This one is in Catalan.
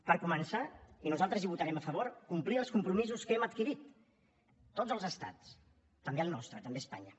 per començar i nosaltres hi votarem a favor complir els compromisos que hem adquirit tots els estats també el nostre també espanya